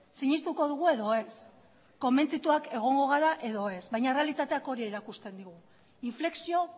sinestuko dugu edo ez konbentzituak egongo gara edo ez baina errealitateak hori erakusten digu inflexio